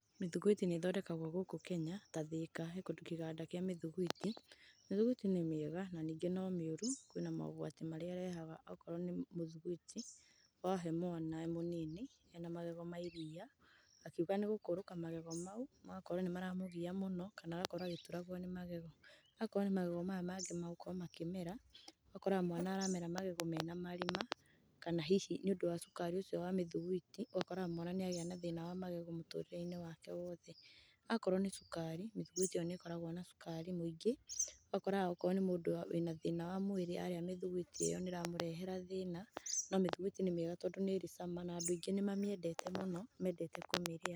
Mĩthugwiti nĩ ĩthondekagwo gũkũ Kenya ta Thĩka, he kũndu kiganda kĩa mĩthugwiti. Mĩthugwiti nĩ mĩega na ningĩ no mĩũru. Kwĩna mogwati marĩa ĩrehaga okorwo nĩ mũthugwiti wahe mwana e mũnini ena magego ma iria, akiuga nĩgũkũrũka magego mau magakorwo nĩ maramũgia mũno kana agakorwo agĩturagwo nĩ magego. Akorwo nĩ magego maya mangĩ magũkorwo makĩmera, ũgakoraga mwana aramera magego mena marima kana hihi nĩũndũ wa cukari ũcio wa mĩthugwiti, ũgakoraga mwana nĩ agĩa na thĩna wa magego mũtũrĩre-inĩ wake wothe. Akorwo nĩ cukari mĩthuigwiti iyo nĩ ĩkoragwo na cukari mũingĩ. Ũgakoraga okorwo nĩ mũndũ wĩ na thĩna wa mwĩrĩ arĩa mĩthugwiti ĩyo nĩ ĩramũrehera thĩna. No mĩthugwiti nĩ mĩega, tondũ nĩ ĩrĩ cama na andũ aingĩ nĩ mamĩendete mũno, mendete kũmĩrĩa.